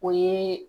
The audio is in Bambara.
O ye